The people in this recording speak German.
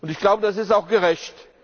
Und ich glaube, das ist auch gerecht.